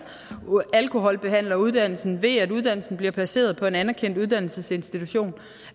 alkoholbehandleruddannelsen ved at uddannelsen bliver placeret på en anerkendt uddannelsesinstitution og